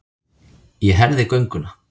Ég herði gönguna.